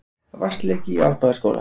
Vatnsleki í Árbæjarskóla